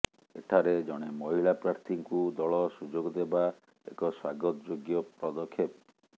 ଏଠାରେ ଜଣେ ମହିଳା ପ୍ରାର୍ଥୀଙ୍କୁ ଦଳ ସୁଯୋଗ ଦେବା ଏକ ସ୍ୱାଗତ ଯୋଗ୍ୟ ପଦକ୍ଷେପ